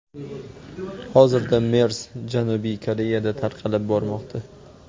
Hozirda MERS Janubiy Koreyada tarqalib bormoqda.